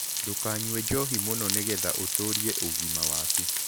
Ndũkanyũe njohĩ mũno nĩgetha ũtũrĩe ũgima wakũ